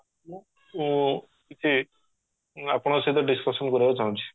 ମୁ କିଛି ଆପଣଙ୍କ ସହିତ discussion କରିବାକୁ ଚାହୁଁଚି